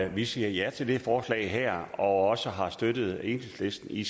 vi siger ja til det forslag her og også har støttet enhedslisten i